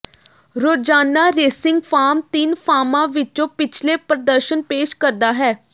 ਰੋਜ਼ਾਨਾ racing form ਤਿੰਨ ਫਾਰਮਾਂ ਵਿੱਚ ਪਿਛਲੇ ਪ੍ਰਦਰਸ਼ਨ ਪੇਸ਼ ਕਰਦਾ ਹੈ